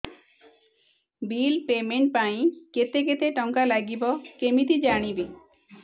bill payment ପାଇଁ କେତେ କେତେ ଟଙ୍କା ଲାଗିବ କେମିତି ଜାଣିବି